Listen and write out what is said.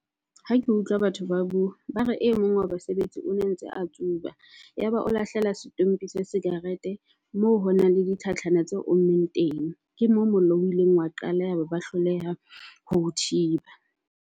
Ha ke utlwa batho ba bua, ba re e mong wa basebetsi o ne ntse a tsuba. Ya ba o lahlela stompie sa sikarete moo ho nang le di tlhatlhana tse ommeng teng. Ke moo mollo o ileng wa qala yaba ba hloleha ho thiba.